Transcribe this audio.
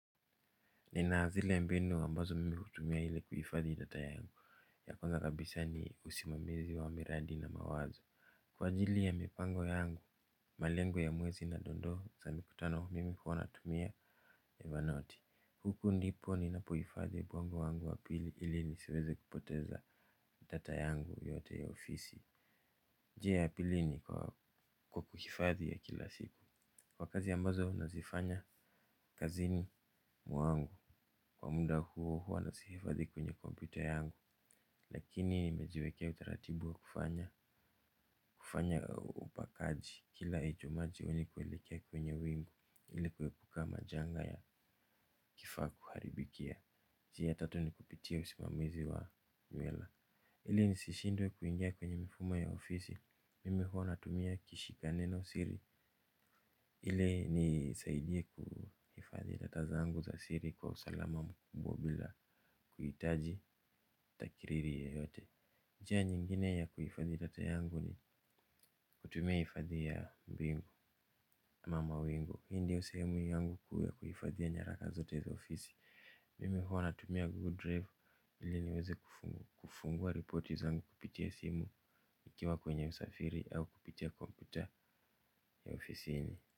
Nina zile ya mbinu ambazo mimi hutumia ili kuhifadhi data yangu ya kwanza kabisa ni usimamizi wa miradi na mawazo kwa ajili ya mipango yangu, malengo ya mwezi na dondoo za mikutano mimi huwa natumia Evernote, huku ndipo ninapo hifadhi ubongo wangu wa pili ili nisiweze kupoteza data yangu yote ya ofisi. Je ya pili ni kwa kuhifadhi ya kila siku kwa kazi ambazo unazifanya kazini mwangu kwa muda huo huwa nazihifadhi kwenye computer yangu lakini nimejiwekea utaratibu wa kufanya kufanya upakaji kila ejo maji ulikoelekea kwenye wingu ili kuepuka majanga ya kifaa kuharibikia njia ya tatu ni kupitia usimamizi wa mwela ili nisishindwe kuingia kwenye mifuma ya ofisi mimi huwa natumia kishika neno siri ili inisaidie kuhifadhi data zangu za siri kwa usalama mkubwa bila kuitaji takiriri yoyote njia nyingine ya kuifadhi data yangu ni kutumia hifadhi ya mbingu ama mawingu hii ndio sehemu yangu ya kuhifadhia nyaraka zote za ofisi mimi huwa natumia Google Drive ili niweze kufungua ripoti zangu kupitia simu ikiwa kwenye usafiri au kupitia kompyuta ya ofisini.